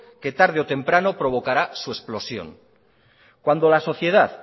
que tarde o temprano provocará su explosión cuando la sociedad